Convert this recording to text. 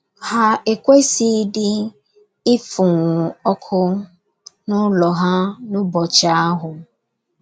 Ha ekwesịghịdị ịfụnwú ọkụ n’ụlọ ha n’ụbọchị ahụ.